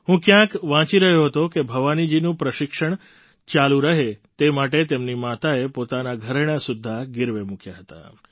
હું ક્યાંક વાંચી રહ્યો હતો કે ભવાનીજીનું પ્રશિક્ષણ ચાલુ રહે તે માટે તેમની માતાએ પોતાનાં ઘરેણાં સુદ્ધાં ગિરવે મૂક્યાં હતાં